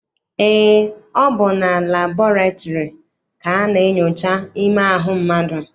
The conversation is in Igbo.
Eé, ọ bụ na labọretịrị ka a na-enyocha ime ahụ mmadụ.